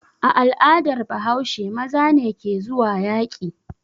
A al'adar Bahaushe maza ne ke zuwa yaƙi.